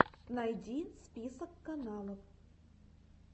найди список каналов